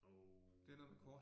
Og